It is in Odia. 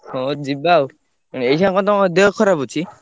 ହଁ ଯିବା ଆଉ। ଏଇଖିନା କଣ ତମ ଦେହ ଖରାପ ଅଛି?